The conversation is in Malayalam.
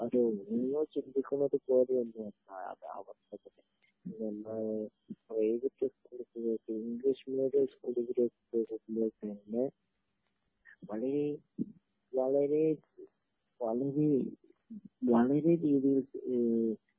അതേ നിങ്ങള് ചിന്തിക്കുന്നത് പോലെ ഒന്നും അല്ല അതായത് അവസ്ഥ അവിടെ പ്രൈവറ്റ് സ്കൂളുകൾ ഇംഗ്ലീഷ് മീഡിയം സ്കൂള് പഴയെ പഴയെ വളരെ വളരെ രീതിയില്